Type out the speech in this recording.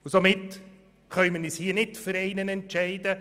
Somit können wir uns hier nicht für einen Antrag entscheiden.